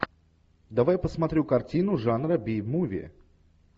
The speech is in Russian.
давай посмотрю картину жанра би муви